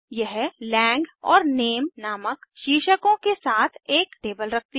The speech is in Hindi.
यह लांग और नामे नामक शीर्षकों के साथ एक टेबल रखती है